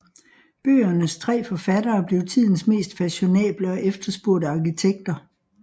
Bøgernes tre forfattere blev tidens mest fashionable og efterspurgte arkitekter